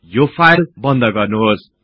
यो फाईल बन्द गर्नुहोस्